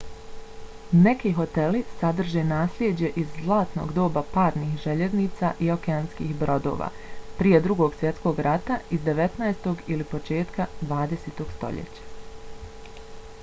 neki hoteli sadrže naslijeđe iz zlatnog doba parnih željeznica i okeanskih brodova – prije drugog svjetskog rata iz 19. ili početka 20. stoljeća